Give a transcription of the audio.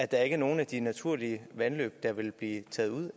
der ikke er nogen af de naturlige vandløb der vil blive taget ud